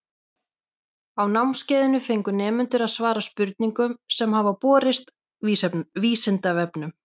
Á námskeiðinu fengu nemendur að svara spurningum sem hafa borist Vísindavefnum.